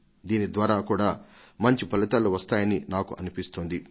దీని ద్వారా కూడా మంచి ఫలితాలు వస్తాయని నాకు అనిపిస్తోంది